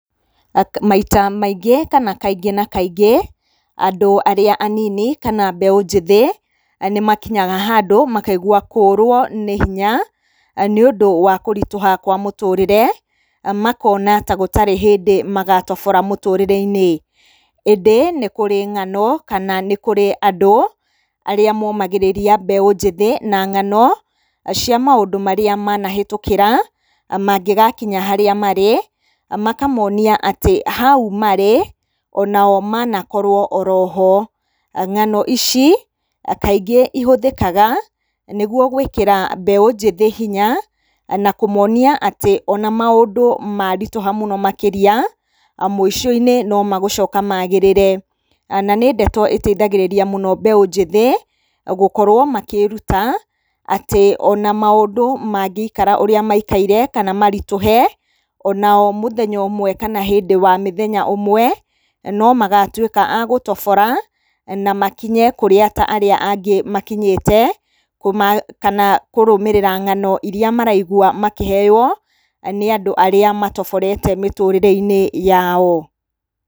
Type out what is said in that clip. Maita maingĩ kana kaingĩ na kaingĩ andũ arĩa anini kana mbeũ njĩthĩ nĩmakinyaga handũ makaigua kũrwo nĩ hinya nĩũndũ wa kũritũha kwa mũtũrĩre. Makona ta gũtarĩ hĩndĩ magatobora mũtũrĩreinĩ. ĩndĩ nĩ kũrĩ ng'ano kana nĩ kũrĩ andũ arĩa momagĩrĩria mbeũ njĩthĩ na ng'ano cia maũndũ marĩa manahĩtũkĩra mangĩgakinya harĩa marĩ makamonia atĩ hau marĩ onao manakorwo oroho. Ng'ano ici kaingĩ ihũthĩkaga nĩguo gwĩkĩra mbeũ njĩthĩ hinya na kũmonia atĩ ona maũndũ maritũha mũno makĩria mũicoinĩ no magũcoka magĩrĩre. Na nĩndeto ĩteithagĩrĩria mũno mbeũ njĩthĩ gũkorwo makĩĩruta atĩ ona maũndũ mangĩikara ũrĩa maikaire kana maritũhe onao mũthenya ũmwe kana hĩndĩ wa mĩthenya ũmwe no magatuĩka a gũtobora na makinye kũrĩa ta arĩa angĩ makinyĩte kana kũrũmĩrĩra ng'ano iria maraigwa makĩheyo nĩ andũ arĩa matoborete mĩtũrĩreinĩ yao.